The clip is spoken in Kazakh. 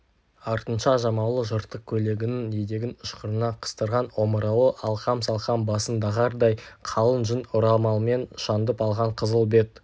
артынша жамаулы жыртық көйлегінің етегін ышқырына қыстырған омырауы алқам-салқам басын дағардай қалың жүн орамалмен шаңдып алған қызыл бет